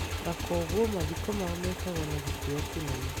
na kwoguo mathiko mao mekagwo na gĩtĩo kĩnene.